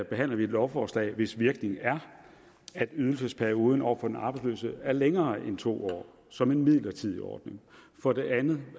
behandler vi et lovforslag hvis virkning er at ydelsesperioden over for den arbejdsløse er længere end to år som en midlertidig ordning og for det andet